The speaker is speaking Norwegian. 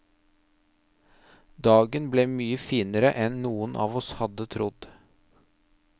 Dagen ble mye finere enn noen av oss hadde trodd.